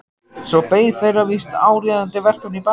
Svo beið þeirra víst áríðandi verkefni í bænum.